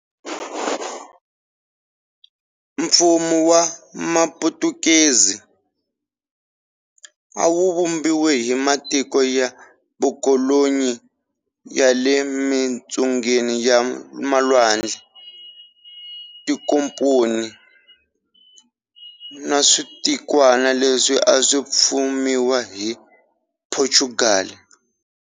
Mfumo wa Maputukezi, a wu vumbiwe hi matiko ya vukolonyi ya le mintsungeni ya malwandle, tinkomponi, na switikwana leswi a swi fumiwa hi Phochugali.